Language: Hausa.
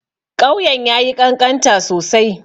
Ƙauyen ya yi ƙanƙanta sosai.